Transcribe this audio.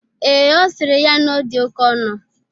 Ee, Ọ sịrị ya na ọ dị oke ọnụ